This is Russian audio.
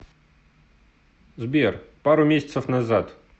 сбер пару месяцев назад